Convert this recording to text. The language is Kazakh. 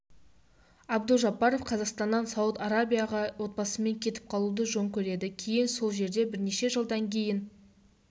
абдужаббаров қазақстаннан сауд арабияға отбасымен кетіп қалуды жөн көреді кейін сол жерде бірнеше жылдан кейін